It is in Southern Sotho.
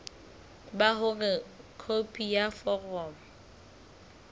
ba hore khopi ya foromo